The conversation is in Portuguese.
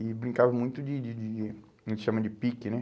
E brincava muito de de de, a gente chama de pique, né?